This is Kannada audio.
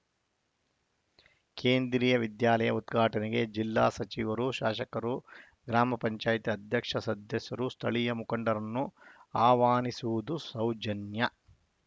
ಕೇಂದ್ರೀಯ ವಿದ್ಯಾಲಯ ಉದ್ಘಾಟನೆಗೆ ಜಿಲ್ಲಾ ಸಚಿವರು ಶಾಸಕರು ಗ್ರಾಮ ಪಂಚಾಯತ್ ಅಧ್ಯಕ್ಷ ಸದಸ್ಯರು ಸ್ಥಳೀಯ ಮುಖಂಡರನ್ನು ಆಹ್ವಾನಿಸುವುದು ಸೌಜನ್ಯ